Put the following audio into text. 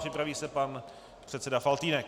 Připraví se pan předseda Faltýnek.